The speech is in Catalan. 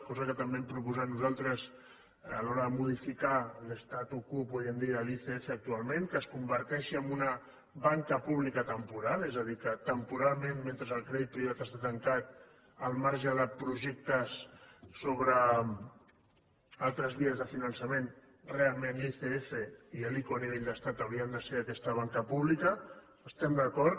cosa que també hem proposat nosaltres a l’hora de modificar l’statu quode l’icf actualment que es converteixi en una banca pública temporal és a dir que temporalment mentre el crèdit privat està tancat al marge de projectes sobre altres vies de finançament realment l’icf i l’ico a nivell d’estat haurien de ser aquesta banca pública hi estem d’acord